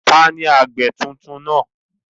Taàní àgbẹ̀ tuntun náà?